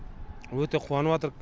өте қуаныватырық